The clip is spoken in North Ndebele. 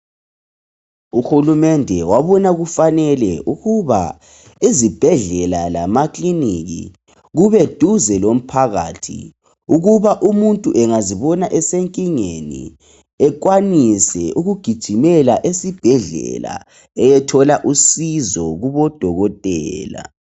Uhulumende wabona kufanele ukuba izibhedlela lamakiliniki kube duze lomphakathi ukuze ukuba umuntu engazibona esenkingeni ekwanise ukugijimela esibhedlela eyethola usizo kubodokotela